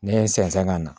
Ne ye n sɛnsɛn ka na